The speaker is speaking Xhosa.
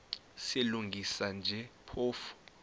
silungisa nje phofu